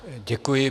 Děkuji.